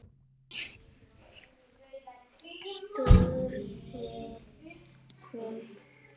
spurði hún.